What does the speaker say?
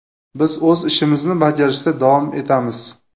Biz o‘z ishimizni bajarishda davom etamiz.